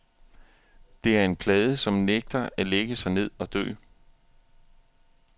Det er en plade, som nægter at lægge sig ned og dø.